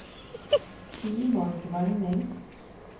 Simon Grønning